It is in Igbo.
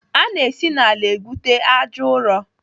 Ana esi n'ala egwute àjà ụrọ.